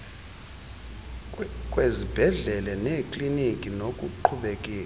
kwezibhedlele neekliniki nokuqhubekeka